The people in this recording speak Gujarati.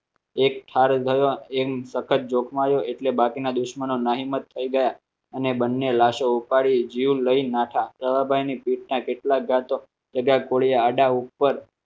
એક થાળી ગયો એમ તખત જોખમાયો એટલે બાકીના દુશ્મનો ના હિંમત થઈ ગયા અને બંને લાશો ઉપાડીને જીવ લઈને નાઠા સવાભાઈની પેટના કેટલા ગાતો જગા ગોળી આડા ઉપર